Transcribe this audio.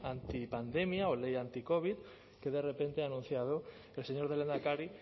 antipandemia o ley anticovid que de repente ha anunciado el señor lehendakari